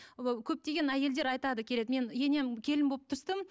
көптеген әйелдер айтады келеді мен енем келін болып түстім